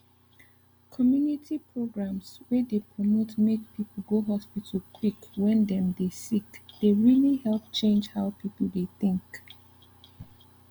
community programs wey dey promote make people go hospital quick when dem dey sick dey really help change how people dey think